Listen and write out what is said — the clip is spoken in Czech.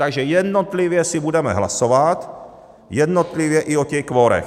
Takže jednotlivě si budeme hlasovat, jednotlivě i o těch kvorech.